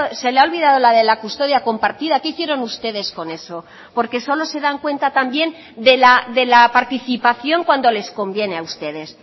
se le ha olvidado la de la custodia compartida qué hicieron ustedes con eso porque solo se dan cuenta también de la participación cuando les conviene a ustedes